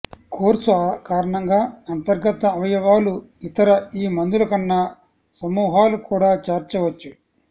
course కారణంగా అంతర్గత అవయవాలు ఇతర ఈ మందులకన్నా సమూహాలు కూడా చేర్చవచ్చు